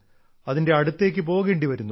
അതിന്റെ അടുത്തേക്ക് പോകേണ്ടി വരുന്നു